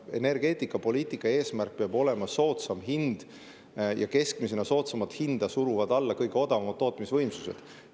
Energeetikapoliitika eesmärk peab olema soodsam hind ja keskmisena suruvad soodsamat hinda alla kõige odavamad tootmisvõimsused.